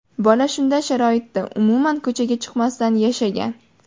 Bola shunday sharoitda, umuman ko‘chaga chiqmasdan yashagan.